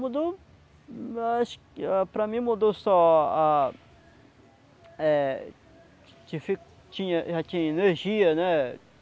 Mudou... Acho que para mim mudou só a eh difi... Tinha, já tinha energia, né?